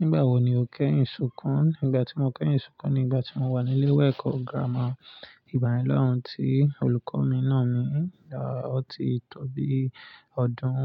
Nígbà wo ni o kẹ́ èyinù sunkun? Ìgbà tí mo kẹ́yin ṣùkun ni ìgbà tí mo wà ní ilé ìwé ẹ̀kọ́ gírámà ìgbàye ńa ti olùkọ́ mi nà mí, ọ̀ ti tó bí ọdún